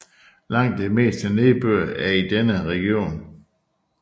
Langt det meste nedbør er i denne region